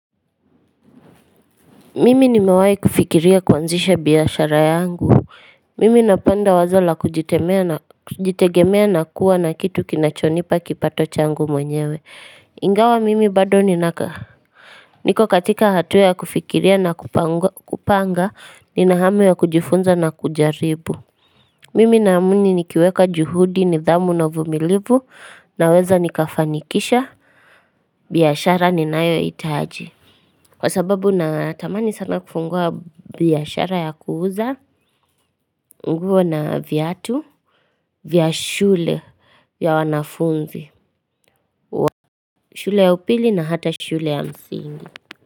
Mimi nimewahi kufikiria kuanzisha biashara yangu Mimi napenda wazo la kujitegemea na kuwa na kitu kinachonipa kipato changu mwenyewe ingawa mimi bado niko katika hatua ya kufikiria na kupanga ni na hamu ya kujifunza na kujaribu Mimi naamini nikiweka juhudi nidhamu na uvumilivu naweza nikafanikisha biashara ni nayo hitahaji Kwa sababu na tamani sana kufungua biashara ya kuuza nguo na viatu vya shule ya wanafunzi shule ya upili na hata shule ya msingi.